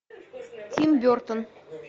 тим бертон